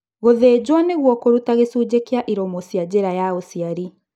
Gũthĩnjwo nĩguo kũruta gĩcunjĩ kĩa iromo cia njĩra ya ũciari.